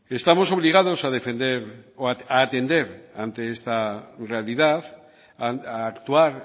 estamos obligados a defender o a atender ante esta realidad a actuar